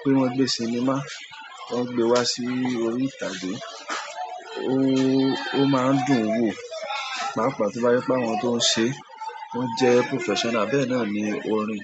pé wọ́n gbé sinimá, wọ́n gbe wá sí orí ìtàgé. O máa ń dùn wò, pàápàá to je pe àwọn tó ń ṣe, wọ́n jẹ́ professional bẹ́ẹ̀ náà ní orin.